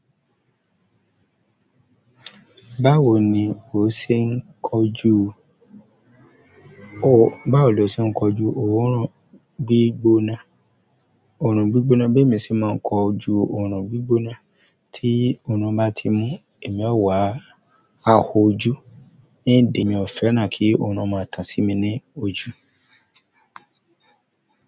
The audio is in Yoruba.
Báwo ni o ṣe ń kọjú? Or báwo lo ṣe ń kọjú oòrùn gbígbóná? Oòrùn gbígbóná, bẹ́ẹ̀ mi sì máa ń kọju oòrùn gbígbóná, tí oòrùn bá ti mú ẹ̀mí ọ̀wà á ho ojú ni ìdí mi ò fẹ́ràn kí oòrùn máa tàn sí mi ní ojú.